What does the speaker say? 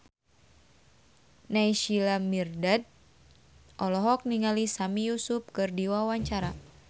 Naysila Mirdad olohok ningali Sami Yusuf keur diwawancara